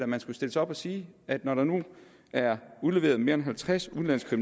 man skulle stille sig op og sige at når der nu er udleveret mere end halvtreds udenlandske